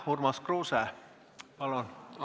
Urmas Kruuse, palun!